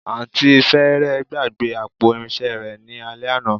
Àǹtí fẹ́rẹ̀ẹ́ gbàgbé àpò irinṣẹ́ rẹ ní alẹ́ àná